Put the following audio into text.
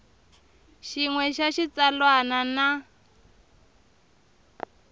xin we xa xitsalwana na